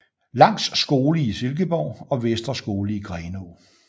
Langs Skole i Silkeborg og Vestre Skole i Grenaa